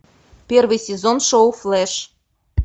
первый сезон шоу флэш